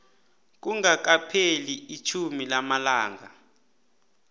kungakapheli itjhumi lamalanga